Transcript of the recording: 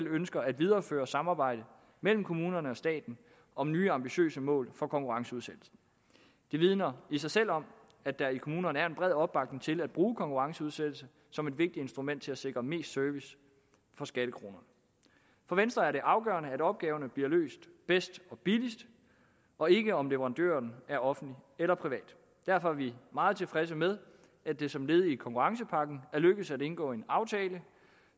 ønsker at videreføre samarbejdet mellem kommunerne og staten om nye ambitiøse mål for konkurrenceudsættelse det vidner i sig selv om at der i kommunerne er en bred opbakning til at bruge konkurrenceudsættelse som et vigtigt instrument til at sikre mest service for skattekronerne for venstre er det afgørende at opgaverne bliver løst bedst og billigst og ikke om leverandøren er offentlig eller privat derfor er vi meget tilfredse med at det som led i konkurrencepakken er lykkedes at indgå en aftale